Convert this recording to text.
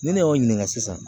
Ni ne y'o ɲininka sisan